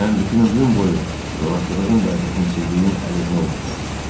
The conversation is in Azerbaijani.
Mən bütün ömrüm boyu zorakılığın və rəhimsizliyin əleyhinə olmuşam.